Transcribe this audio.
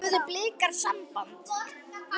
Höfðu Blikar samband?